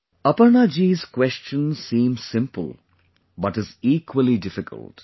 " Aparna ji's question seems simple but is equally difficult